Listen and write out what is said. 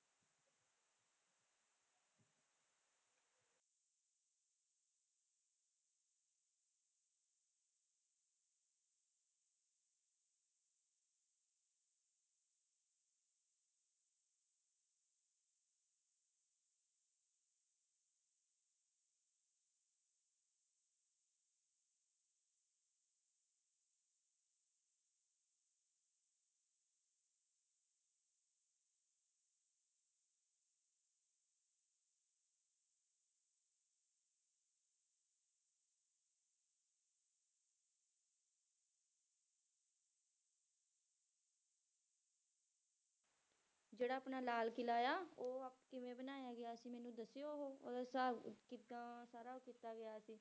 ਜਿਹੜਾ ਆਪਣਾ ਲਾਲ ਕਿਲ੍ਹਾ ਆ ਉਹ ਕਿਵੇਂ ਬਣਾਇਆ ਗਿਆ ਸੀ ਮੈਨੂੰ ਦੱਸਿਓ ਉਹ ਉਹਦਾ ਹਿਸਾਬ ਕਿੱਦਾਂ ਸਾਰਾ ਕੀਤਾ ਗਿਆ ਸੀ